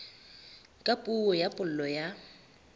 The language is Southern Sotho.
ka puo ya pulo ya